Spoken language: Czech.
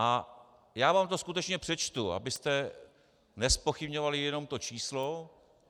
A já vám to skutečně přečtu, abyste nezpochybňovali jenom to číslo.